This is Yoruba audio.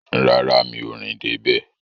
Rárá, mi ò rìn dé bẹ̀